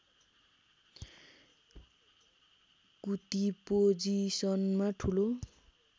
कुती पोजिसनमा ठूलो